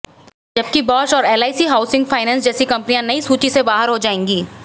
जबकि बॉश और LIC housing finance जैसी कंपनियां नई सूची से बाहर हो जाएंगी